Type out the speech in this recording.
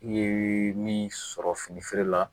I ye min sɔrɔ fini feerela